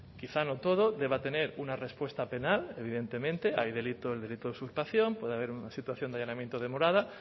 quizá no todo deba tener una respuesta penal evidentemente hay delito el delito de usurpación puede haber una situación de allanamiento de morada